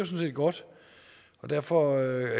set godt derfor